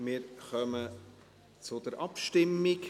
Wir kommen zur Abstimmung.